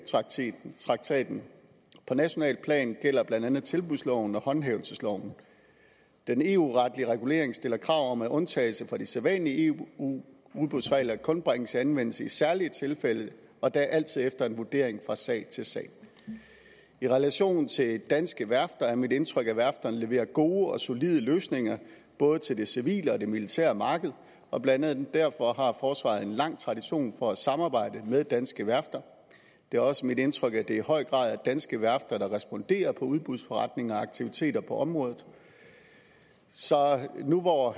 traktaten på nationalt plan gælder blandt andet tilbudsloven og håndhævelsesloven den eu retlige regulering stiller krav om at undtagelse fra de sædvanlige eu udbudsregler kun bringes i anvendelse i særlige tilfælde og da altid efter en vurdering fra sag til sag i relation til danske værfter er det mit indtryk at værfterne leverer gode og solide løsninger både til det civile og militære marked og blandt andet derfor har forsvaret en lang tradition for at samarbejde med danske værfter det er også mit indtryk at det i høj grad er danske værfter der responderer på udbudsforretninger og aktiviteter på området så nu hvor